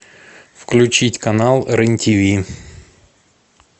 включить канал рен тв